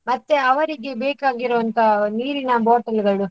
ಮತ್ತೆ ಅವರಿಗೆ ಬೇಕಾಗಿರುವಂತ ನೀರಿನ bottle ಗಳು?